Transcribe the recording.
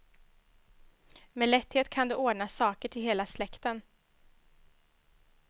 Med lätthet kan du ordna saker till hela släkten.